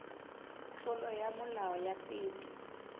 tlolo ya molao ya peto